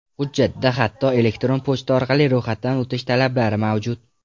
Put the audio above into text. Hujjatda hatto elektron pochta orqali ro‘yxatdan o‘tish talablari mavjud.